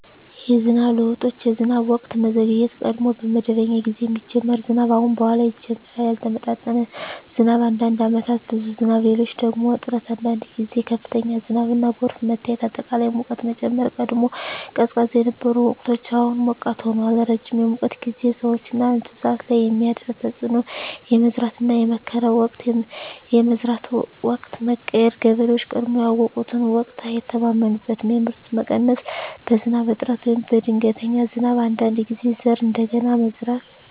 የዝናብ ለውጦች የዝናብ ወቅት መዘግየት – ቀድሞ በመደበኛ ጊዜ የሚጀምር ዝናብ አሁን በኋላ ይጀምራል ያልተመጣጠነ ዝናብ – አንዳንድ ዓመታት ብዙ ዝናብ፣ ሌሎች ደግሞ እጥረት አንዳንድ ጊዜ ከፍተኛ ዝናብና ጎርፍ መታየት አጠቃላይ ሙቀት መጨመር – ቀድሞ ቀዝቃዛ የነበሩ ወቅቶች አሁን ሞቃት ሆነዋል ረጅም የሙቀት ጊዜ – ሰዎችና እንስሳት ላይ የሚያደርስ ተፅዕኖ የመዝራትና የመከር ወቅት የመዝራት ወቅት መቀየር – ገበሬዎች ቀድሞ ያውቁትን ወቅት አይተማመኑበትም የምርት መቀነስ – በዝናብ እጥረት ወይም በድንገተኛ ዝናብ አንዳንድ ጊዜ ዘር እንደገና መዝራት